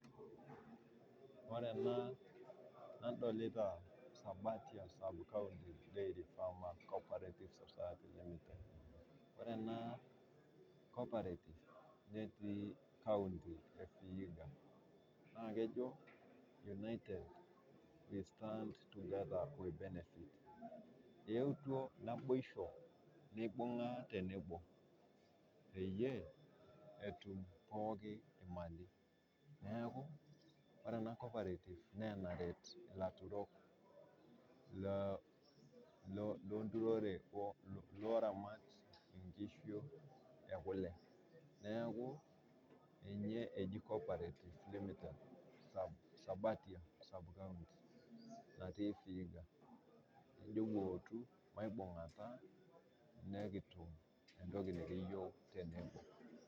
Ore ena nadolita Sabatia subcounty diary farmer co-operative society limited. Ore ena co-operative netii nkaunti e vihida naa kejo United we stand together we benefit. Eeutwa naibosho, neibung'a tenebo peyie etum pooki emali, neaku ore ena co-operative naa enaret laturok le nturore, looramat inkishu okule, naaku ninye eji co-operative limited ssabatia subcounty natii vihiga ,nejo wootu maibungata nikitum entoki naretu yook tenebo.